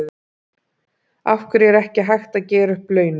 Af hverju er ekki hægt að gera upp launin?